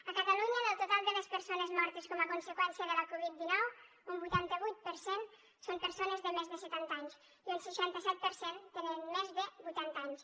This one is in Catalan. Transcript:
a catalunya del total de les persones mortes com a conseqüència de la covid dinou un vuitanta vuit per cent són persones de més de setanta anys i un seixanta set per cent tenen més de vuitanta anys